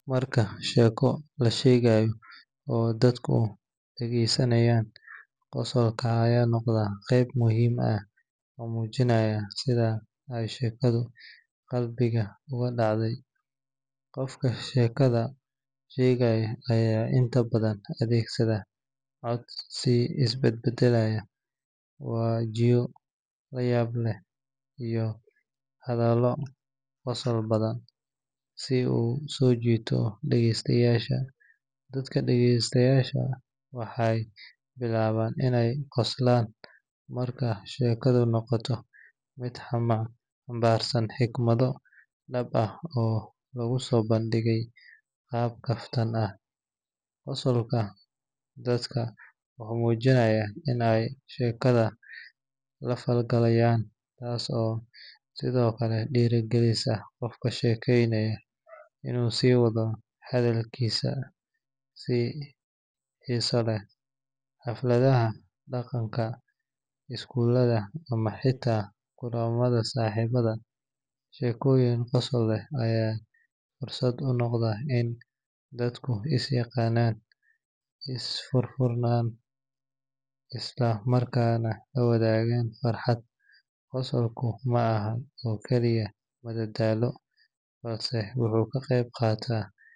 Marka sheeko la sheegayo oo dadku dhageysanayaan, qosolka ayaa noqda qayb muhiim ah oo muujinaysa sida ay sheekadu qalbiga ugu dhacday. Qofka sheekada sheegaya ayaa inta badan adeegsada cod is bedbeddelaya, wajiyo la yaab leh iyo hadallo qosol badan si uu u soo jiito dhagaystayaasha. Dadka dhagaystaya waxay bilaabaan inay qoslaan marka sheekadu noqoto mid xambaarsan xigmado dhab ah oo lagu soo bandhigay qaab kaftan ah. Qosolka dadka wuxuu muujinayaa in ay sheekada la falgalayaan, taas oo sidoo kale dhiirrigelisa qofka sheekaynaya inuu sii wado hadalkiisa si xiiso leh. Xafladaha dhaqanka, iskuulada ama xitaa kulamada saaxiibada, sheekooyin qosol leh ayaa fursad u noqda in dadku is yaqaanan, is furfuraan isla markaana la wadaagaan farxad. Qosolku ma ahan oo kaliya madadaalo, balse wuxuu ka qayb qaataa.